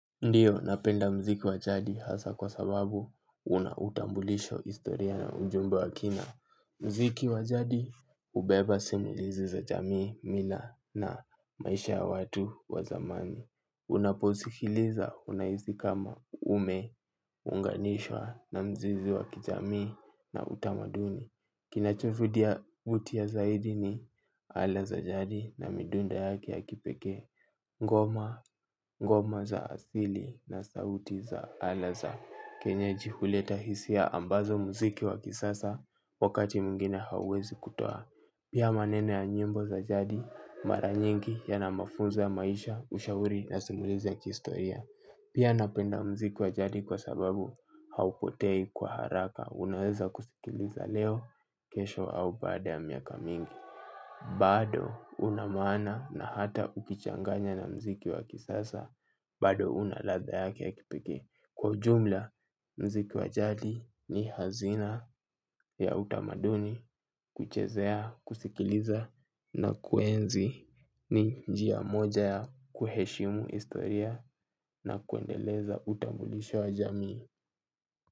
Ndiyo, napenda mziki wa jadi hasa kwa sababu una utambulisho historia na ujumbe wa kina. Mziki wa jadi hubeba simulizi za jamii, mila na maisha ya watu wa zamani. Unaposikiliza unahisi kama umeunganishwa na mzizi wa kijamii na utamaduni. Kinachovutia zaidi ni aina za jadi na midunda yake ya kipekee ngoma za asili na sauti za alaza kenye jihuleta hisia ambazo muziki wa kisasa wakati mwingine hawezi kutoa. Pia maneno ya nyimbo za jadi mara nyingi yana mafunzo ya maisha ushauri na simulizi ya kihistoria. Pia napenda muziki wa jadi kwa sababu haupotei kwa haraka. Unaweza kusikiliza leo kesho au baada ya miaka mingi. Bado una maana na hata ukichanganya na mziki wa kisasa. Bado una ladha yake ya kipekee. Kwa ujumla mziki wa jadi ni hazina ya utamaduni kuchezea kusikiliza. Na kuenzi ni njia moja ya kuheshimu historia na kuendeleza utambulisho wa jamii.